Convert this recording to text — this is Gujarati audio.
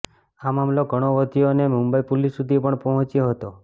આ મામલો ઘણો વધ્યો અને મુંબઈ પોલીસ સુધી પણ પહોંચ્યો હતો